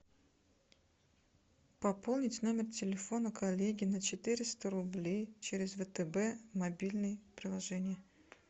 пополнить номер телефона коллеги на четыреста рублей через втб мобильное приложение